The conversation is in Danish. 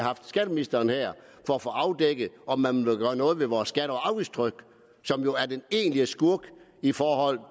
haft skatteministeren her for at få afdækket om man vil gøre noget ved vores skatte og afgiftstryk som jo er den egentlige skurk i forhold